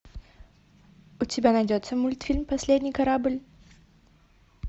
у тебя найдется мультфильм последний корабль